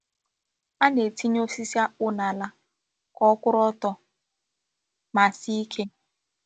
A na-etinye osisi akpụ́ n’ala ka ọ kwụ̀rụ̀ ọtọ ma sie ike.